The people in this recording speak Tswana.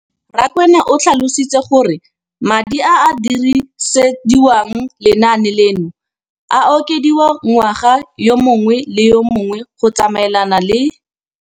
Rakwena o tlhalositse gore madi a a dirisediwang lenaane leno a okediwa ngwaga yo mongwe le yo mongwe go tsamaelana le